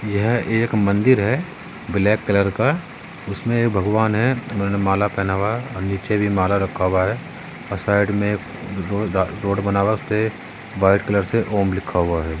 यह एक मंदिर है ब्लैक कलर का उसमे ये भगवन है माला पेहना हुआ नीचे भी माला रखा हुआ है और साइड मे रो रोड बना हुआ है उसपे व्हाइट कलर से ॐ लिखा हुआ है।